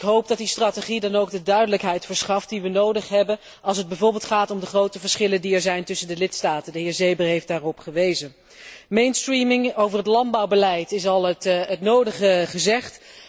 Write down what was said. Ik hoop dat die strategie dan ook de duidelijkheid verschaft die wij nodig hebben als het bijvoorbeeld gaat om de grote verschillen die er zijn tussen de lidstaten, iets waarop de heer Seeber heeft gewezen. Mainstreaming. Over het landbouwbeleid is al het nodige gezegd.